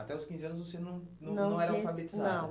Até os quinze anos você não não não era alfabetizada. Não tinha, não.